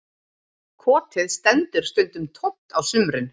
Kotið stendur stundum tómt á sumrin